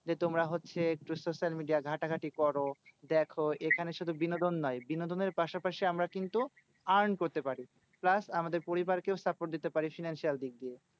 যে তোমরা হচ্ছে social media ঘাঁটাঘাঁটি করো দেখো। এখানে শুধু বিনোদন নয় বিনোদনের পাশাপাশি আমরা কিন্তু earn করতে পারি। plus আমাদের পরিবারকেও support দিতে পারি financial দিক দিয়ে।